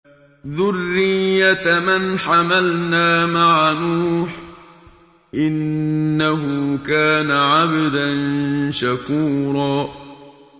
ذُرِّيَّةَ مَنْ حَمَلْنَا مَعَ نُوحٍ ۚ إِنَّهُ كَانَ عَبْدًا شَكُورًا